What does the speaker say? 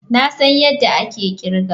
Na san yadda ake kirga.